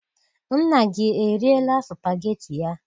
Nna gị eriela supageti ya?